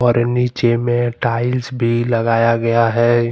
नीचे में टाइल्स भी लगाया गया है।